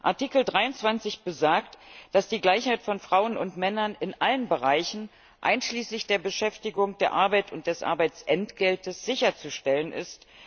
Artikel 23 besagt, dass die Gleichheit von Frauen und Männern in allen Bereichen, einschließlich der Beschäftigung der Arbeit und des Arbeitsentgeltes, sicherzustellen ist.